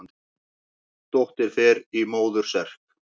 Dóttir fer í móður serk.